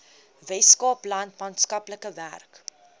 weskaapland maatskaplike werk